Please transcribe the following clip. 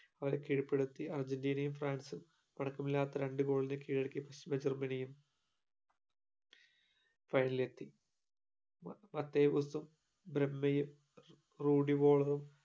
അവരെ കീഴ്പെടുത്തി അർജന്റീനയും ഫ്രാൻസും മല്ലാത്ത രണ്ടു goal കീഴടക്കി ജർമനിയും final ഇലെത്തി